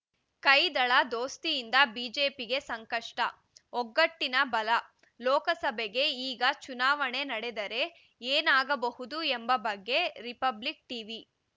ಕೈದಳ ದೋಸ್ತಿಯಿಂದ ಬಿಜೆಪಿಗೆ ಸಂಕಷ್ಟ ಒಗ್ಗಟ್ಟಿನ ಬಲ ಲೋಕಸಭೆಗೆ ಈಗ ಚುನಾವಣೆ ನಡೆದರೆ ಏನಾಗಬಹುದು ಎಂಬ ಬಗ್ಗೆ ರಿಪಬ್ಲಿಕ್‌ ಟೀವಿ